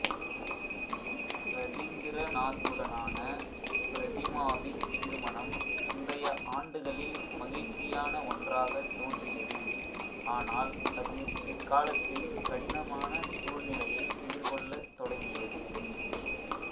இரதிந்திரநாத்துடனான பிரதிமாவின் திருமணம் முந்தைய ஆண்டுகளில் மகிழ்ச்சியான ஒன்றாகத் தோன்றியது ஆனால் அது பிற்காலத்தில் கடினமான சூழ்நிலையை எதிர்கொள்ளத் தொடங்கியது